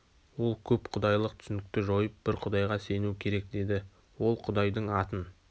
ол көп құдайлық түсінікті жойып бір құдайға сену керек деді ол құдайдың атын